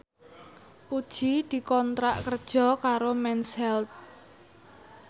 Puji dikontrak kerja karo Mens Health